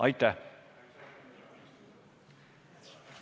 Aitäh!